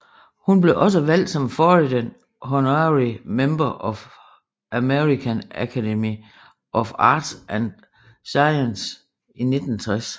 Hun blev også valgt som Foreign Honorary Member af American Academy of Arts and Sciences i 1960